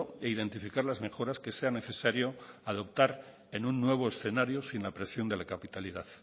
e identificar las mejoras que sea necesario adoptar en un nuevo escenario sin la presión de la capitalidad